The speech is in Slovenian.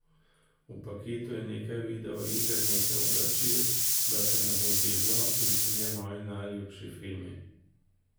V paketu je nekaj videoiger, nekaj oblačil, da te ne bo zeblo, in trije moji najljubši filmi.